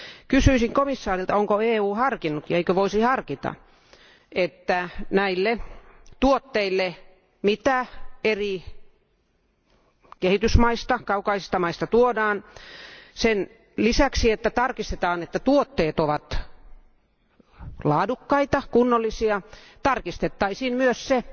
Kysyisin komission jäseneltä, onko EU harkinnut ja eikö EU voisi harkita, että näistä tuotteista, joita eri kehitysmaista, kaukaisista maista, tuodaan sen lisäksi, että tarkistetaan, että tuotteet ovat laadukkaita ja kunnollisia tarkistettaisiin myös se,